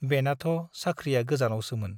बेनाथ' साख्रिया गोजानावसोमोन ।